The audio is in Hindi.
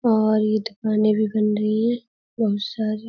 और ये दुकानें भी बन रही हैं। बहुत सारी --